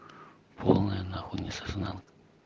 полная находится знал